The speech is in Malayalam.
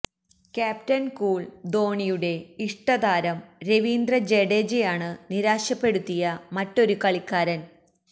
ക്യാപ്റ്റന് കൂള് ധോണിയുടെ ഇഷ്ടതാരം രവീന്ദ്ര ജഡേജയാണ് നിരാശപ്പെടുത്തിയ മറ്റൊരു കളിക്കാരന്